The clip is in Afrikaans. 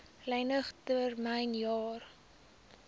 lening termyn jare